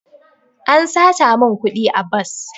An sata min kudi a bas.